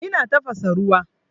Ina tafasa ruwa.